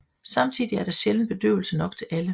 Samtidig er der sjældent bedøvelse nok til alle